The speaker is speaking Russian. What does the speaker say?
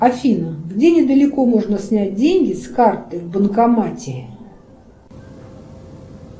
афина где недалеко можно снять деньги с карты в банкомате